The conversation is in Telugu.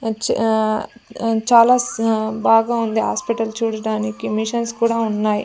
చా చాలా స బాగా ఉంది హాస్పిటల్ చూడటానికి మిషన్స్ కూడా ఉన్నాయి.